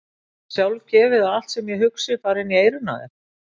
Er það eitthvað sjálfgefið að allt sem ég hugsa fari inn í eyrun á þér!